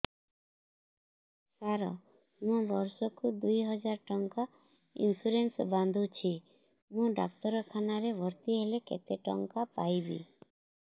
ସାର ମୁ ବର୍ଷ କୁ ଦୁଇ ହଜାର ଟଙ୍କା ଇନ୍ସୁରେନ୍ସ ବାନ୍ଧୁଛି ମୁ ଡାକ୍ତରଖାନା ରେ ଭର୍ତ୍ତିହେଲେ କେତେଟଙ୍କା ପାଇବି